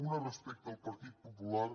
una respecte al partit popular